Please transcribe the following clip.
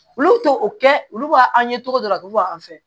Olu to o kɛ olu b'a an ye cogo dɔ la a bɛ bɔ an fɛ